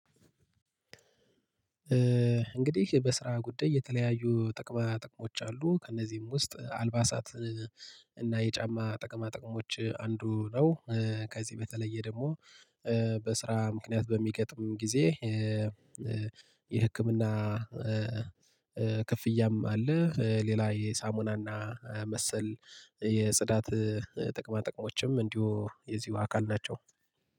እንግዲህ በስራ ጉዳይ የተለያዩ ጥቅማ ጥቅሞች አሉ ከእነዚህም ውስጥ አልባሳት እና የጫማ ጥቅማ ጥቅሞች አንዱ ነው። ከዚህ በተለየ ደግሞ በስራ ምክንያት በሚገጥም ጊዜ የህክምና ክፍያም አለ። ሌላ የሳሙናና መሰል የጽዳት ጥቅማ ጥቅሞችም እንዲሁ የዚሁ አካል ናቸው